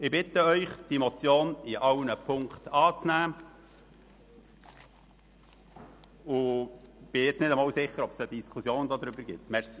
Ich bitte Sie, die Motion in allen Ziffern anzunehmen, und ich bin mir nicht einmal sicher, ob es überhaupt eine Diskussion darüber geben wird.